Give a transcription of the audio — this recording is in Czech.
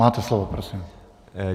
Máte slovo, prosím.